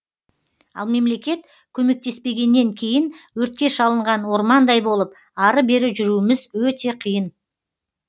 ал мемлекет көмектеспегеннен кейін өртке шалынған ормандай болып ары бері жүруіміз өте қиын